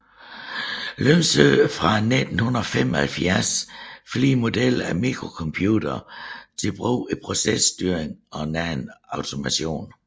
Lyngsø fra 1975 flere modeller af mikrocomputere til brug i processtyring og anden automation